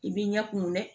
I b'i ɲɛ kumun dɛ